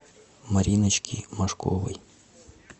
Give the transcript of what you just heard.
мариночки машковой